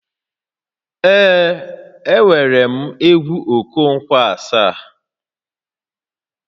Ee, enwerem egwu Okonkwo Asaá